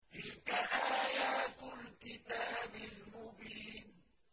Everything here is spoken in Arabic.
تِلْكَ آيَاتُ الْكِتَابِ الْمُبِينِ